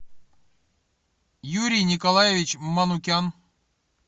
юрий николаевич манукян